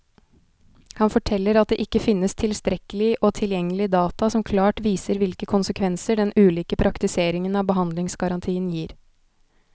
Han forteller at det ikke finnes tilstrekkelig og tilgjengelig data som klart viser hvilke konsekvenser den ulike praktiseringen av behandlingsgarantien gir.